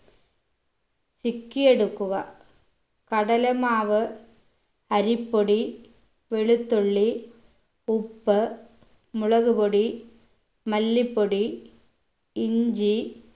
ചിക്കിയെടുക്കുക കടലമാവ് അരിപ്പൊടി വെളുത്തുള്ളി ഉപ്പ് മുളകുപൊടി മല്ലിപ്പൊടി ഇഞ്ചി